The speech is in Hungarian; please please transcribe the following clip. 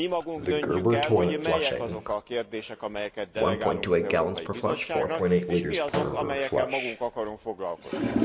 Mi magunk döntjük el, hogy melyek azok a kérdések, amelyeket delegálunk az Európai Bizottságnak, és mik azok, amelyekkel magunk akarunk foglalkozni.